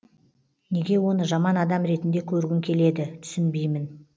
неге оны жаман адам ретінде көргің келеді түсінбеймін